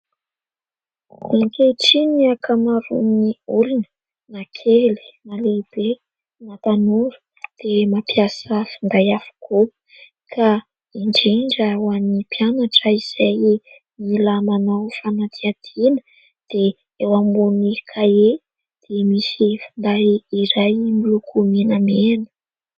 Ankehitriny ny ankamaron'ny olona na kely na lehibe na tanora dia mampiasa finday avokoa ka indrindra ho an'ny mpianatra izay mila manao fanadihadiana dia eo ambony kahie dia misy finday iray miloko menamena.